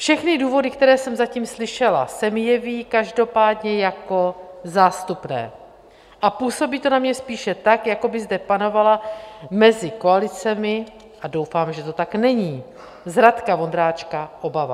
Všechny důvody, které jsem zatím slyšela, se mi jeví každopádně jako zástupné a působí to na mě spíše tak, jako by zde panovala mezi koalicemi - a doufám, že to tak není - z Radka Vondráčka obava.